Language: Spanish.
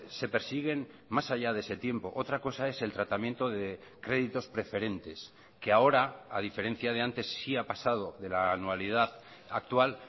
se persiguen más allá de ese tiempo otra cosa es el tratamiento de créditos preferentes que ahora a diferencia de antes sí ha pasado de la anualidad actual